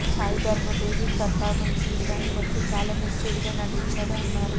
Sai Dharam Tej performance విషయానికొస్తే చాలా matured గా నటించాడు అన్నారు